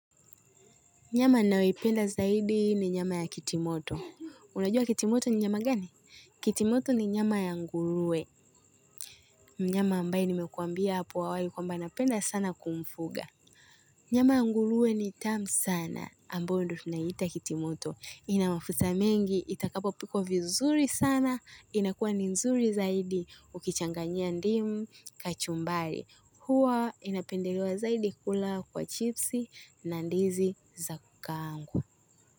Nyama ninayoipenda zaidi ni nyama ya kitimoto. Unajua kitimoto ni nyama gani? Kitimoto ni nyama ya nguruwe. Mnyama ambaye nimekuambia hapo awali kwamba napenda sana kumfuga. Nyama ya nguruwe ni tamu sana. Ambayo ndiyo tunaiita kitimoto. Ina mafuta mengi, itakapo pikwa vizuri sana. Inakuwa ni nzuri zaidi ukichanganyia ndimu kachumbari. Huwa inapendelewa zaidi kula kwa chipsi na ndizi za kukaangwa.